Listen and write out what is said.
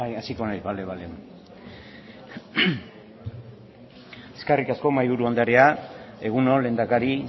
eskerrik asko mahaiburu anderea egun on lehendakari